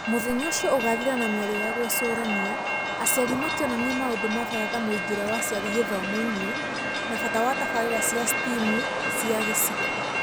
Mũthenya ũcio ũgathira na mĩario ya gwĩcũrania, aciari makĩonania maũndũ ma bata ta mũingĩre wa aciari gĩthomo-inĩ na bata wa tabarĩra cia STEAM cia gĩcigo